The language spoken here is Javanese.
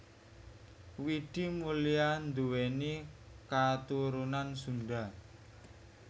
Widi Mulia nduwéni katurunan Sunda